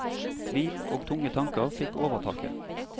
Tvil og tunge tanker fikk overtaket.